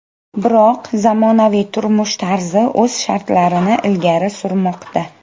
Biroq zamonaviy turmush tarzi o‘z shartlarini ilgari surmoqda.